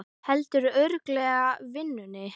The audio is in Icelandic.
Heldurðu örugglega vinnunni?